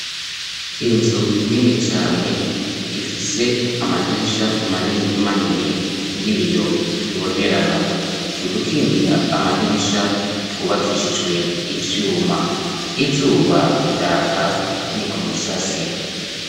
inzu nini cane ifise amadirisha manini manini y'ibiyo bibonerana udukingira amadirisha twubakishijwe ivyuma izuba riraka ni ku musasi